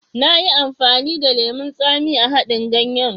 Nayi amfani da lemon tsami a haɗin ganyen.